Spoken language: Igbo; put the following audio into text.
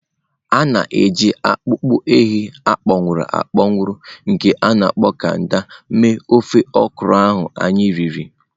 A na-eji akpụkpọ ehi akpọnwụ akpọnwụ nke a na-akpọ kanda mee ofe okra ahụ anyị riri.